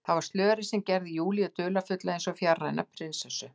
Það var slörið sem gerði Júlíu dularfulla, eins og fjarræna prinsessu.